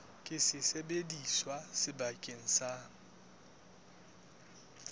ke sesebediswa se sebetsang ka